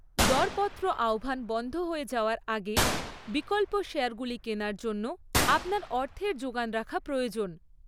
দরপত্র আহ্বান বন্ধ হয়ে যাওয়ার আগে বিকল্প শেয়ারগুলি কেনার জন্য আপনার অর্থের জোগান রাখা প্রয়োজন।